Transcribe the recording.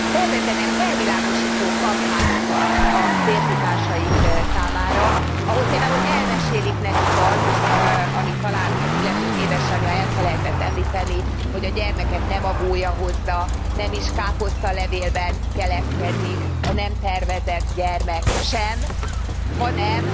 Szervezzenek felvilágosító kampányokat a férfitársaik számára, ahol például elmesélik nekik azt, amit talán az illetők édesanyja elfelejtett említeni, hogy a gyermeket nem a gólya hozza, nem is káposztalevélben keletkezik, a nem tervezett gyermek sem, hanem